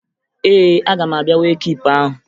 Ee, aga m abịa wee kiipu ahụ